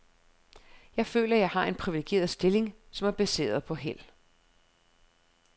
Jeg føler, jeg har en privilegeret stilling, som er baseret på held.